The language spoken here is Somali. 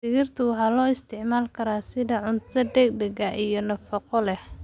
Digirta waxaa loo isticmaali karaa sida cunto degdeg ah iyo nafaqo leh.